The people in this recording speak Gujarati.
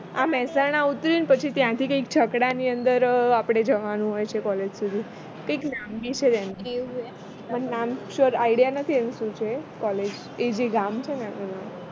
આ મેહસાણા ઉતારી ને પછી ત્યાંથી કંઈક છકડાની અંદર આપણે જવાનું હોય છે college સુધી કંઈક નામ બી છે એનું પણ નામ મને idea નથી એનું શું છે college એ જે ગામ છે એનું નામ